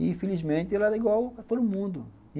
E, infelizmente, ela é igual a todo mundo.